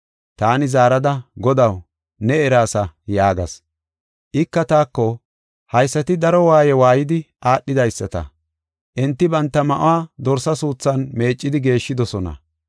Taani zaarada, “Godaw, ne eraasa” yaagas. Ika taako, “Haysati daro waaye waaydi aadhidaysata. Enti banta ma7uwa Dorsa suuthan meeccidi geeshshidosona.